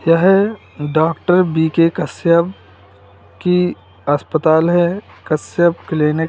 यह doctor B K Kashyap की अस्पताल है कश्यप क्लीनिक ।